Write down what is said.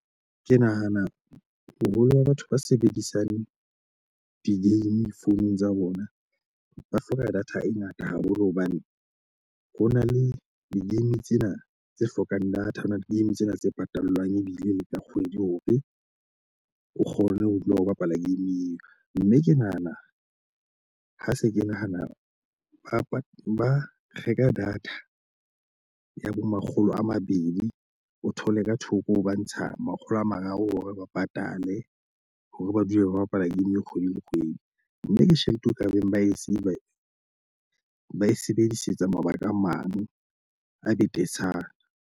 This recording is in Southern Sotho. Ke nahana boholo ba batho ba sebedisang di-game founung tsa bona, ba hloka data e ngata haholo hobane ho na le di-game tsena tse hlokang data, ho na le game tsena tse patalwang ebile le tla kgwedi hore o kgone ho dula o bapala game eo. Mme ke nahana ha se ke nahana, a ba ba reka data ya bo makgolo a mabedi, o thole ka thoko ba ntsha makgolo a mararo hore ba patale hore ba dule ba bapala game kgwedi le kgwedi. Mme ke tjhelete e ka beng ba e sile ba e sebedisetsa mabaka a mang a betetshana.